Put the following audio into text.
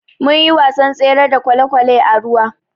Munyi wasan tsere da kwalekwale a ruwa.